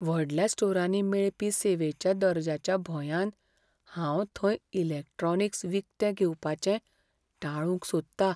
व्हडल्या स्टोरांनी मेळपी सेवेच्या दर्ज्याच्या भंयान हांव थंय इलॅक्ट्रॉनिक्स विकतें घेवपाचें टाळूंक सोदतां.